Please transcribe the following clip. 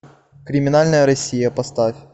криминальная россия поставь